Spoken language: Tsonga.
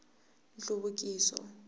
nhluvukiso